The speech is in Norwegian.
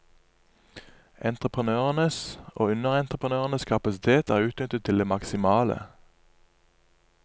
Entreprenørenes og underentreprenørenes kapasitet er utnyttet til det maksimale.